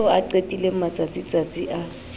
eo a qetileng matsatsitsatsi a